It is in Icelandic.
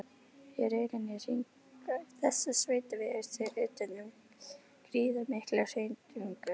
Í rauninni hringar þessi sveitavegur sig utan um gríðarmikla hrauntungu.